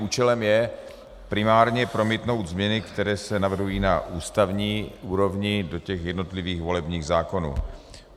Účelem je primárně promítnout změny, které se navrhují na ústavní úrovni do těch jednotlivých volebních zákonů.